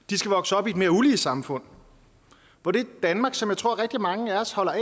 de skal vokse op i et mere ulige samfund hvor det danmark som jeg tror rigtig mange af os holder af